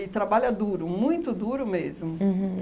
trabalha duro, muito duro mesmo. Uhum